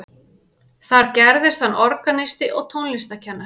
Þar gerðist hann organisti og tónlistarkennari.